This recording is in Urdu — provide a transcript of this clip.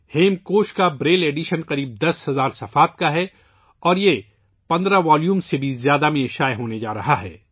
ہیمکوش کا بریل ایڈیشن تقریباً 10000 صفحات پر مشتمل ہے اور یہ 15 سے بھی زیادہ جلدوں میں شائع ہونے جا رہا ہے